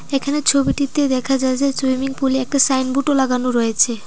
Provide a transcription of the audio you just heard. এখানে ছবিটিতে দেখা যাচ্ছে সুইমিং পুলে একটা সাইনবোর্ডও লাগানো রয়েছে।